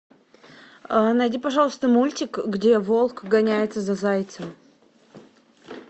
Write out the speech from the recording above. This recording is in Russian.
найди пожалуйста мультик где волк гоняется за зайцем